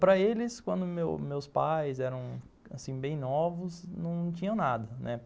Para eles, quando meus, meus pais eram bem novos, não tinham nada, né.